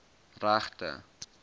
regte